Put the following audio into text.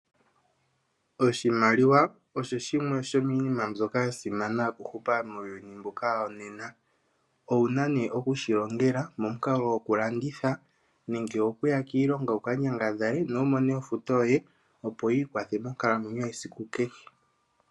Oshimaliwa osho shimwe shomiinima mbyoka ya simana okuhupa muuyuni mbuka wonena. Owuna nee okushilongela momukalo gwokulanditha nenge okuya kiilonga wukanyangadhale nowumone ofuto yoye opo wu ikwathe monkalamwenyo yesiku kehe.